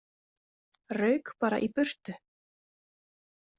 Rauk bara í burtu.